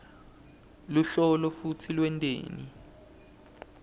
luhlolo futsi lwenteni